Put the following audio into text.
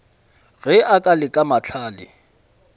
ge a ka leka mahlale